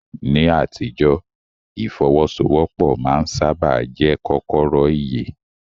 Ní àtijọ́, ìfọ́wọ́sọwọ́pọ̀ máa ń sáábà jẹ́ kọ́kọ́rọ́ ìyè.